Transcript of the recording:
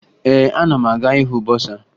Ee, ana m aga ịhụ bọsaa